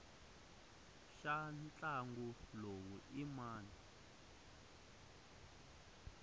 xa ntlangu lowu i mani